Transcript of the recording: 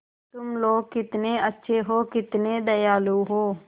तुम लोग कितने अच्छे हो कितने दयालु हो